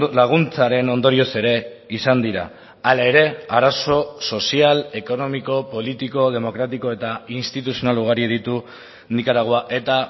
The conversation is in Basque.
laguntzaren ondorioz ere izan dira hala ere arazo sozial ekonomiko politiko demokratiko eta instituzional ugari ditu nikaragua eta